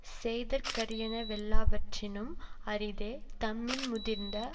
செய்தற்கரியன வெல்லாவற்றினும் அரிதே தம்மின் முதிர்ந்த